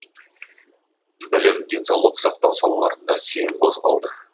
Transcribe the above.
білім денсаулық сақтау салаларында сең қозғалды